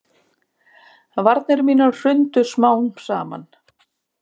Varnir mínar hrundu smám saman.